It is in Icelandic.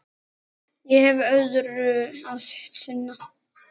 Ég hef öðru að sinna.